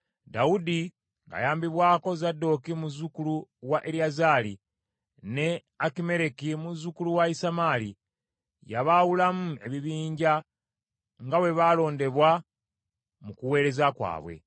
Dawudi ng’ayambibwako Zadooki muzzukulu wa Eriyazaali, ne Akimereki muzzukulu wa Isamaali, yabaawulamu ebibinja nga bwe baalondebwa mu kuweereza kwabwe.